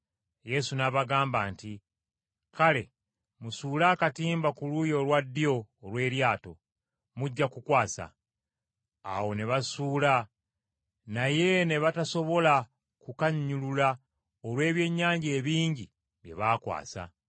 Yesu n’abagamba nti, “Kale musuule akatimba ku luuyi olwa ddyo olw’eryato, mujja ku kukwasa.” Awo ne basuula, naye ne batasobola kukannyulula olw’ebyennyanja ebingi bye baakwasa!